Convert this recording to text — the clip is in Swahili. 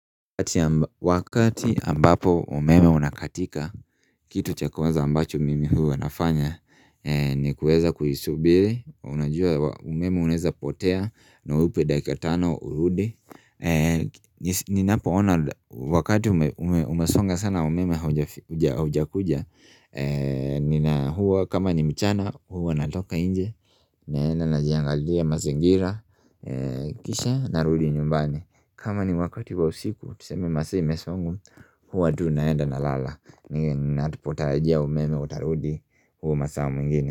Wakati ambapo umeme unakatika kitu cha kwanza ambacho mimi huwa wanafanya ni kuweza kuisubiri, unajua umeme unaweza potea na uupe dakika tano urudi Ninapoona wakati umesonga sana umeme haujakuja huwa kama ni mchana huwa natoka nje naenda najiangalia mazingira, kisha narudi nyumbani kama ni wakati wa usiku, tuseme masaa imesonga Huwa tu naenda na lala Ninapotarajia umeme utarudi hio masaa mengine.